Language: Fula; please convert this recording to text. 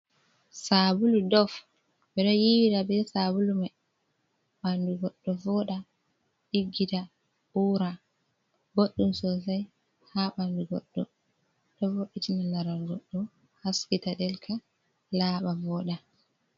Sabulu Dof ɓeɗo yiwira be sabulu mai, ɓandu goɗɗo voɗa ɗiggita ura. Boɗɗum sosai ha ɓandu goɗɗo, ɗo vo'itina larar goɗɗo haskita ɗelka laaɓa vooɗa.